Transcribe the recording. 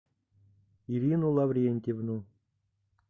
ирину лаврентьевну